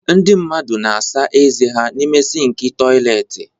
Ndị mmadụ na-asa ezé n'ime sịnkị toịletị.